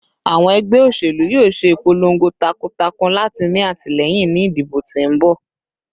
Awọn ẹgbẹ oṣelu yoo ṣe ipolongo takuntakun lati ni atilẹyin ni idibo ti n bọ